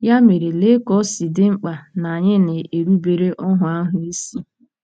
Ya mere, lee ka o si dị mkpa na anyị na-erubere “óhù ahụ” isi!